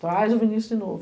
Traz o Vinícius de novo.